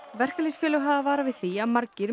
verkalýðsfélög hafa varað við því að margir